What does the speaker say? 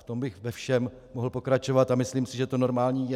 V tom bych ve všem mohl pokračovat a myslím si, že to normální je.